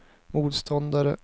motståndare